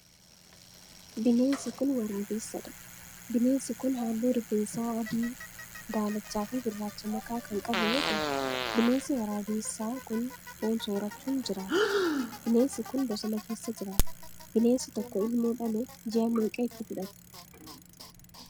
Bineensi kun, waraabessa dha. Bineensi kun, haalluu rifeensaa adii, daalacha fi gurraacha makaa kan qabu yoo ta'u, bineensi waraabessaa kun foon soorachuun jiraata. Bineensi kun, bosona keessa jiraata. Bineensi tokko ilmoo dhaluuf ji'a meeqa itti fudhata?